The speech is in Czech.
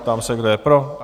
Ptám se, kdo je pro?